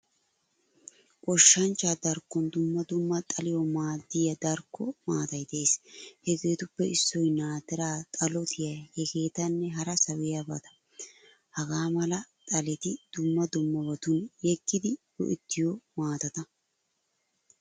Goshshanchcha darkkon dumma dumma xaliyawu maadiyaadarkko maatay de'ees. Heegetuppe issoy naatiraa, xalotiyaa hegettanne hara sawiyabata. Hagaamala xaleti dumma dummabatun yegidi go'ettiyo maatatta.